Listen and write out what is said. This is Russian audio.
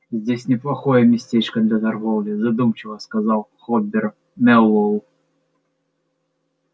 здесь неплохое местечко для торговли задумчиво сказал хобер мэллоу